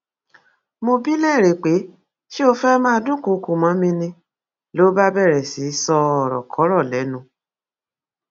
mo bi í lérè pé ṣé ó fẹẹ máa dúnkookò mọ mi ni ló bá bẹrẹ sí í ṣòrokòrò lẹnu